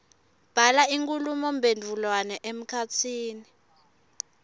bhala inkhulumomphendvulwano emkhatsini